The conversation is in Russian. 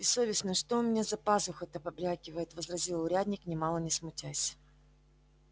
бессовестный что у меня за пазухой-то побрякивает возразил урядник нимало не смутясь